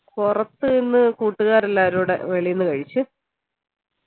പുറത്തുനിന്ന് കൂട്ടുകാരെല്ലാരു കൂടെ വേളിന്ന് കഴിച്ച്